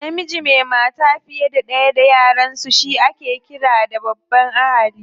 Namiji mai mata fiye da ɗaya da yaransu ake ƙira da babban ahali.